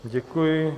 Děkuji.